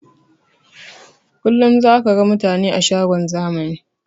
Kullum zaka ga mutane a shagon zamani